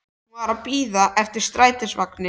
Hún var að bíða eftir strætisvagni.